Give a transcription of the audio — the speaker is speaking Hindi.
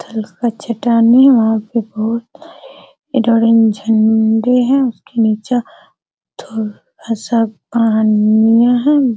पत्थर का चट्टाने है वहां पे बहुत सारे झंडे है उस के नीचे थोड़ा सा पनियाँ है।